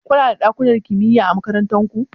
Kuna da ɗakunan kimiya a makarantar ku?